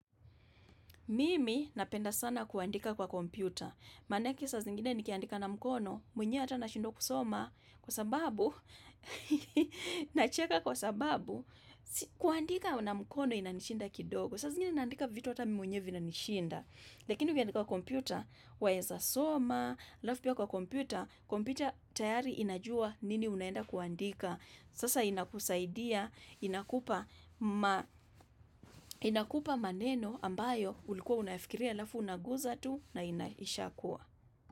Mimi napenda sana kuandika kwa kompyuta. Maanake saa zingine nikiandika na mkono, mwenye hata na shindwa kusoma. Kwa sababu, nacheka kwa sababu, kuandika na mkono inanishinda kidogo. Saa zingine naandika vitu hata mimi mwenyeww vinanishinda. Lakini ukiandika kwa kompyuta, waeza soma, alafu pia kwa kompyuta, kompyuta tayari inajua nini unaenda kuandika. Sasa inakusaidia, inakupa maneno ambayo ulikuwa unafikiria alafu unaguza tu na inaisha kuwa.